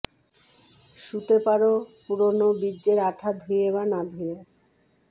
শুতে পারো পুরোনো বীর্যের আঠা ধুয়ে বা না ধুয়ে